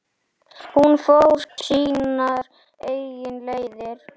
Hún fór sínar eigin leiðir.